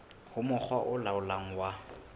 ho mokga o laolang wa